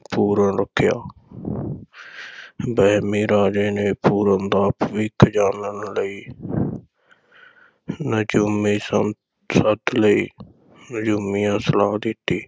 ਪੂਰਨ ਰੱਖਿਆ ਵਹਿਮੀ ਰਾਜੇ ਨੇ ਪੂਰਨ ਦਾ ਭਵਿੱਖ ਜਾਨਣ ਲਈ ਨਜੂਮੀ ਸੱ~ ਸੱਦ ਲਏ ਨਜੂਮੀਆਂ ਸਲਾਹ ਦਿੱਤੀ,